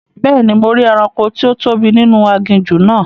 Bẹ́ẹ̀ni, mo rí ẹranko tí ó tóbi ninu aginjù náà